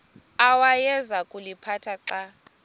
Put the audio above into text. awayeza kuliphatha xa